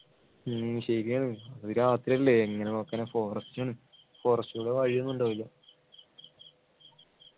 ഉം ശരിയാണ് അത് രാത്രി അല്ലെ എങ്ങനെ നോക്കാനാ forest ആണ് forest ക്കൂടെ വഴിയൊന്നും ഉണ്ടാവൂല